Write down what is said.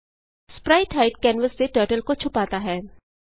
sprite hide canvas से turtle को छुपाता है